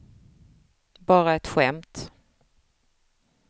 bara ett skämt